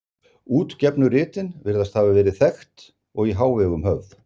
Útgefnu ritin virðast hafa verið þekkt og í hávegum höfð.